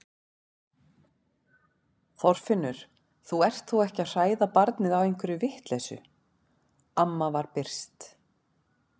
Þorfinnur, þú ert þó ekki að hræða barnið á einhverri vitleysu amma var byrst.